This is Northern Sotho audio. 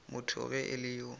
motho ge e le yo